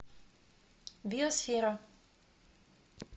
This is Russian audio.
биосфера